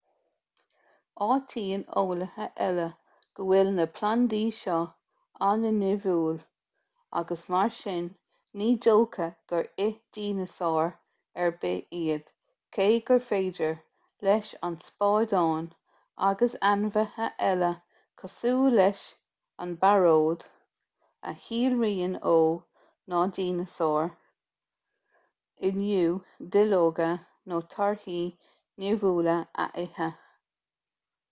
áitíonn eolaithe eile go bhfuil na plandaí seo an-nimhiúil agus mar sin ní dócha gur ith dineasáir ar bith iad cé gur féidir leis an spadán agus ainmhithe eile cosúil leis an bpearóid a shíolraíonn ó na dineasáir inniu duilleoga nó torthaí nimhiúla a ithe